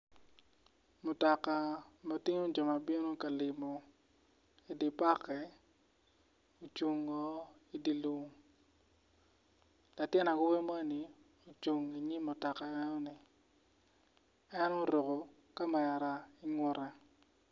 Mutoka ma tingo jo ma bino ka limo idye park-ki ocungo idye lum latin awobi moni ocung inyim mutoka enoni en oruko kamera ingute.